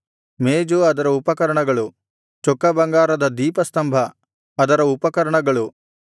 ಮೇಜು ಅದರ ಉಪಕರಣಗಳು ಚೊಕ್ಕ ಬಂಗಾರದ ದೀಪಸ್ತಂಭ ಅದರ ಉಪಕರಣಗಳು